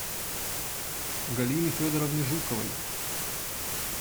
галины федоровны жуковой